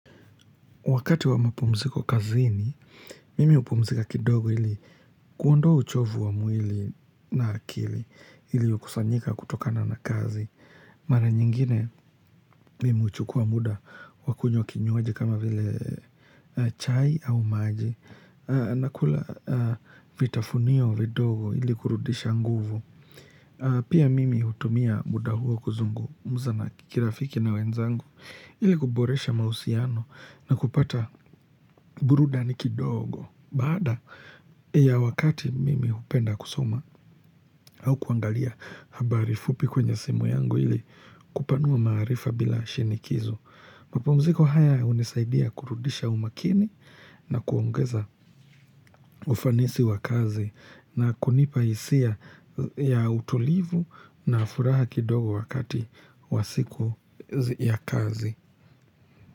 Wakati wa mapumziko kazini, mimi upumzika kidogo ili kuondoa uchovu wa mwili na akili iliokusanyika kutokana na kazi. Mara nyingine, mimi uchukua muda wakunywa kinywaji kama vile chai au maji. Nakula vitafunio vidogo ili kurudisha nguvu. Pia mimi hutumia muda huo kuzungumza na kirafiki na wenzangu ili kuboresha mausiano na kupata burudani kidogo. Baada ya wakati mimi hupenda kusoma au kuangalia habari fupi kwenye simu yangu ili kupanua maarifa bila shinikizo. Mapumziko haya hunisaidia kurudisha umakini na kuongeza ufanisi wa kazi na kunipa hisia ya utulivu na furaha kidogo wakati wa siku ya kazi.